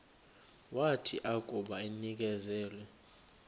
wathi akuba enikezelwe